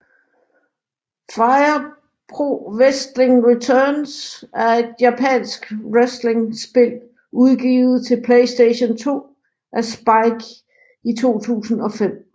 Fire Pro Wrestling Returns er et japansk wrestlingspil udgivet til PlayStation 2 af Spike i 2005